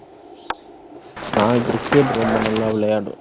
நான் cricket ரொம்ப நல்லா விளையாடுவேன்